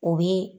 O bi